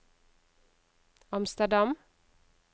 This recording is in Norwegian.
Amsterdam